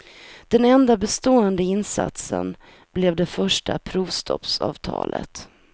Den enda bestående insatsen blev det första provstoppsavtalet.